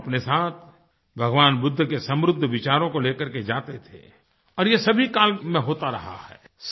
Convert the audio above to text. वह अपने साथ भगवान बुद्ध के समृद्ध विचारों को ले करके जाते थे और यह सभी काल में होता रहा है